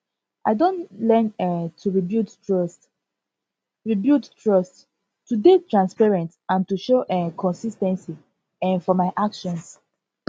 i don learn um to rebuild trust rebuild trust to dey transparent and to show um consis ten cy um for my actions